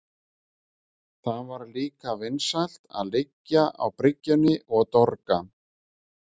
Það var líka vinsælt að liggja á bryggjunni og dorga.